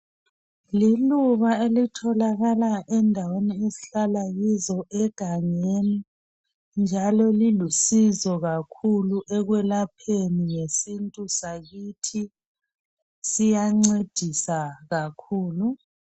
Liluba elitholakala endaweni esihlala kizo egangeni njalo lilusizo kakhulu ekwelapheni ngesintu sakuthi siyancedisa kakhulu